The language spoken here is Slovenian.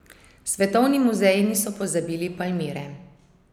Svetovni muzeji niso pozabili Palmire.